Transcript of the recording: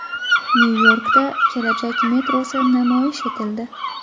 Nyu-Yorkda kelajak metrosi namoyish etildi.